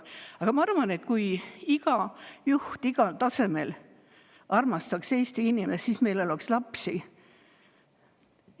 Aga ma arvan, et kui iga juht igal tasemel armastaks Eesti inimest, siis meil oleks lapsi.